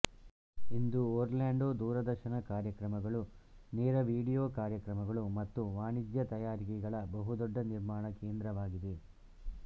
ಇಂದು Orlando ದೂರದರ್ಶನ ಕಾರ್ಯಕ್ರಮಗಳು ನೇರವಿಡಿಯೋ ಕಾರ್ಯಕ್ರಮಗಳು ಮತ್ತು ವಾಣಿಜ್ಯ ತಯಾರಿಕೆಗಳ ಬಹುದೊಡ್ಡ ನಿರ್ಮಾಣ ಕೇಂದ್ರವಾಗಿದೆ